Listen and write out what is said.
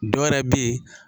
Dɔ wɛrɛ bɛ ye